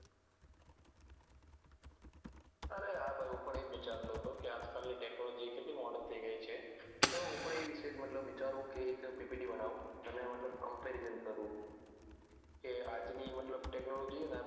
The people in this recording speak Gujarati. અરે હા ભાઈ હું પણ એજ વિચારતો હતો કે આજ કાલ ની tecnology કેટલી modern થઇ ગઈ છે તો હું પણ એ વિષે જ મતલબ વિચારું કે ppt બનાઉ અને મતલબ comparison કરું કે આજ ની મતલબ tecnology